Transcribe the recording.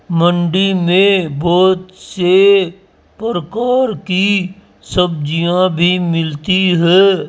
मंडी मे बहोत से प्रकार की सब्जियां भी मिलती है।